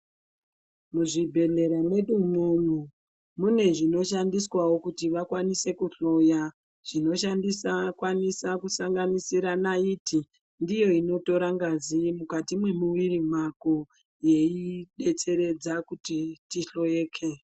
Muzvibhedhlera mwedu mwomwo mune zvinoshandiswavo kuti vakwanise kuhloya. Zvinoshandisa kukwanisa kusanganisira naiti ndiyo inotora ngazi mukati mwemuviri mwako yei betseredza kuti tihloyeke.